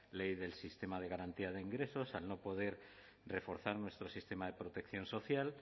ley del sistema de garantía de ingresos al no poder reforzar nuestro sistema de protección social